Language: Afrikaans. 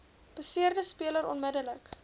beseerde speler onmiddellik